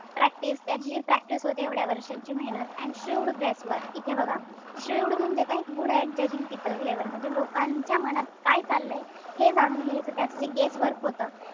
Practice त्याची जी practice होती एवढ्या वर्षांची मेहनत. And shrewd guesswork इथे बघा shrewd म्हणजे काय? good at judging people labor म्हणजे चालय हे जाणून घ्यायचं त्याच जे guesswork होत,